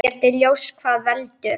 Ekki er ljóst hvað veldur.